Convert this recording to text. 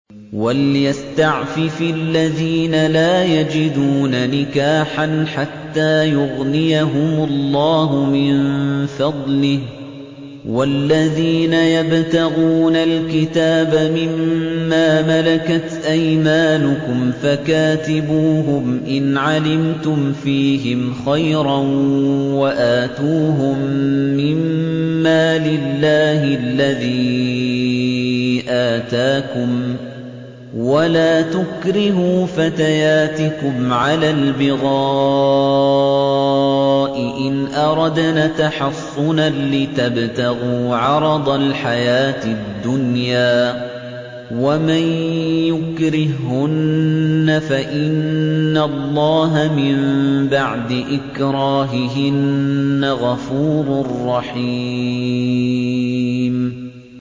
وَلْيَسْتَعْفِفِ الَّذِينَ لَا يَجِدُونَ نِكَاحًا حَتَّىٰ يُغْنِيَهُمُ اللَّهُ مِن فَضْلِهِ ۗ وَالَّذِينَ يَبْتَغُونَ الْكِتَابَ مِمَّا مَلَكَتْ أَيْمَانُكُمْ فَكَاتِبُوهُمْ إِنْ عَلِمْتُمْ فِيهِمْ خَيْرًا ۖ وَآتُوهُم مِّن مَّالِ اللَّهِ الَّذِي آتَاكُمْ ۚ وَلَا تُكْرِهُوا فَتَيَاتِكُمْ عَلَى الْبِغَاءِ إِنْ أَرَدْنَ تَحَصُّنًا لِّتَبْتَغُوا عَرَضَ الْحَيَاةِ الدُّنْيَا ۚ وَمَن يُكْرِههُّنَّ فَإِنَّ اللَّهَ مِن بَعْدِ إِكْرَاهِهِنَّ غَفُورٌ رَّحِيمٌ